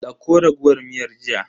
Dauko raguwar miyar jiya.